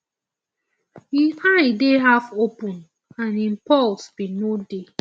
im eye dey halfopen and im pulse bin no dey